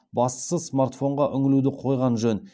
бастысы смартфонға үңілуді қойған жөн